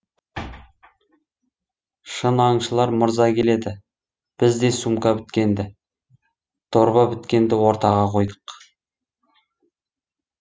шын аңшылар мырза келеді біз де сумка біткенді дорба біткенді ортаға қойдық